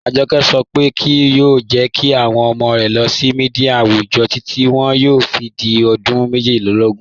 Ajọkẹ sọ pe kíí yoo jẹ́ kí awọn ọmọ rẹ lóò míḍíà awùjọ́ títi wọn yóò fi di ọdún mẹ́jìdílógún